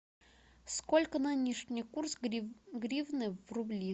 сколько нынешний курс гривны в рубли